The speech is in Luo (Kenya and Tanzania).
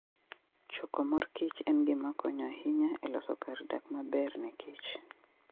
Choko mor kich en gima konyo ahinya e loso kar dak maber ne kich.